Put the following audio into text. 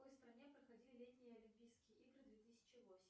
в какой стране проходили летние олимпийские игры две тысячи восемь